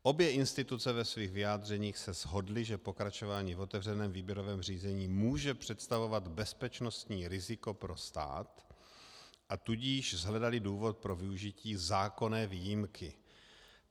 Obě instituce ve svých vyjádřeních se shodly, že pokračování v otevřeném výběrovém řízení může představovat bezpečnostní riziko pro stát, a tudíž shledaly důvod pro využití zákonné výjimky.